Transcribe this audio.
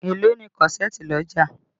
Èló ni kọ́ṣẹ̀ẹ̀tì lọ́jà?